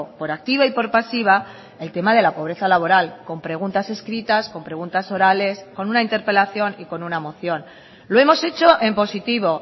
por activa y por pasiva el tema de la pobreza laboral con preguntas escritas con preguntas orales con una interpelación y con una moción lo hemos hecho en positivo